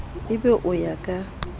e be o ya ka